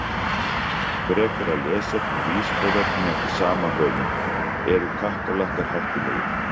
Frekara lesefni á Vísindavefnum eftir sama höfund: Eru kakkalakkar hættulegir?